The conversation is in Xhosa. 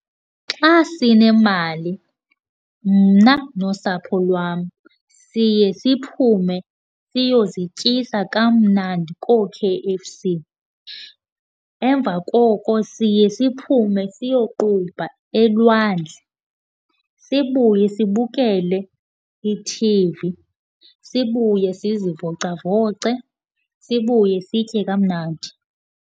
Xa sinemali mna nosapho lwam siye siphume siyozityisa kamnandi koo-K_F_C. Emva koko siye siphume siyoqubha elwandle, sibuye sibukele i-T_V, sibuye sizivocavoce, sibuye sitye kamnandi.